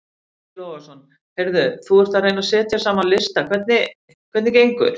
Breki Logason: Heyrðu þú ert að reyna að setja saman lista hvernig hvernig gengur?